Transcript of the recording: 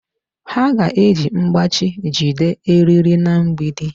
Ha ga-eji mkpachi jide eriri na mgbidi.